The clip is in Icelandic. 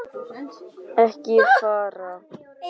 Ekki fara.